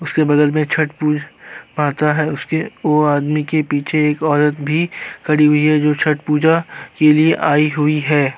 उसके बगल में छठ पूज आता है। उसके वो आदमी के पीछे एक औरत भी खड़ी हुई है जो छठ पूजा के लिए आई हुई है।